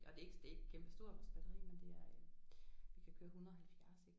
Og det er ikke det er ikke kæmpe stort vores batteri men det er det kan køre 170 ik